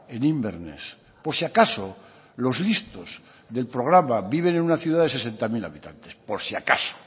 en inverness por si acaso los listos del programa viven en una ciudad de sesenta mil habitantes por si acaso